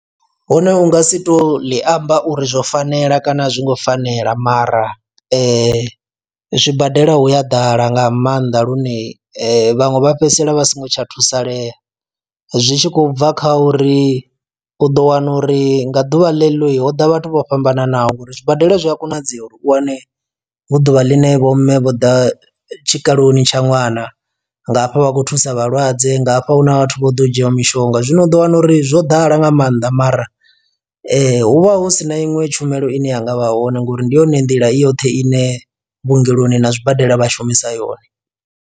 Hune u nga si tou ḽi amba uri zwo fanela kana a zwi ngo fanela mara zwibadela hu a ḓala nga maanḓa lune vhaṅwe vha fhedzisela vha so ngo tsha thusalea, zwi tshi khou bva kha uri u ḓo wana uri nga ḓuvha ḽe ḽo ho ḓa vhathu vho fhambananaho ngauri zwibadela zwi a konadzea uri u wane hu ḓuvha ḽine vho mme vho ḓa tshikaloni tsha ṅwana nga hafha vha khou thusa vhalwadze nga hafha huna vhathu vho ḓo dzhia mishonga. Zwino u ḓo wana uri zwo ḓala nga maanḓa mara hu vha hu si na iṅwe tshumelo ine yanga vha hone ngori ndi yone nḓila i yoṱhe ine vhuongeloni na zwibadela vha shumisa yone.